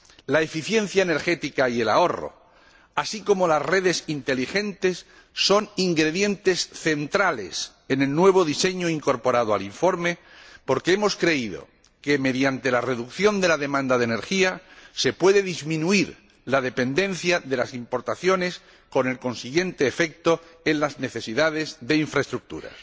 La eficiencia energética y el ahorro, así como las redes inteligentes, son ingredientes centrales en el nuevo diseño incorporado al informe, porque hemos creído que, mediante la disminución de la demanda de energía, se puede disminuir la dependencia de las importaciones, con el consiguiente efecto en las necesidades de infraestructuras.